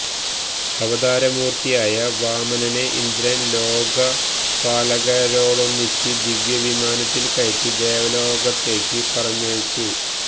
അവതാരമൂര്ത്തിയായ വാമനനെ ഇന്ദ്രന് ലോകപാലകരോടൊന്നിച്ച് ദിവ്യവിമാനത്തില് കയറ്റി ദേവലോകത്തേക്കു പറഞ്ഞയച്ചു